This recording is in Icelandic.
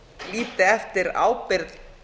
líti eftir ábyrgð